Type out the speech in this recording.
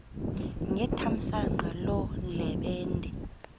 ngethamsanqa loo ndlebende